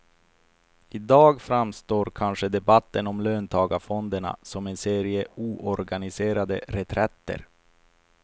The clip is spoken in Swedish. I dag framstår kanske debatten om löntagarfonderna som en serie oorganiserade reträtter.